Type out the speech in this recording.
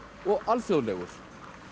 og alþjóðlegur